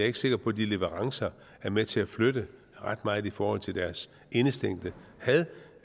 ikke sikker på at de leverancer er med til at flytte ret meget i forhold til deres indestængte had